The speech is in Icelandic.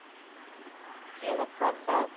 Gera hvað þar?